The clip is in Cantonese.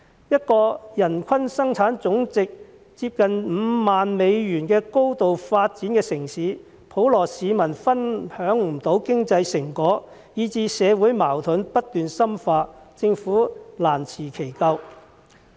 一個人均生產總值接近5萬美元的高度發展城市，普羅市民分享不到經濟成果，以至社會矛盾不斷深化，政府難辭其咎。